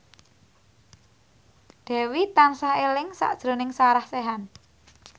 Dewi tansah eling sakjroning Sarah Sechan